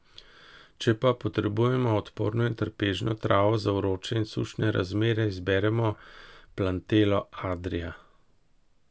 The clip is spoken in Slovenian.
Če pa potrebujemo odporno in trpežno travo za vroče in sušne razmere, izberemo plantello adria.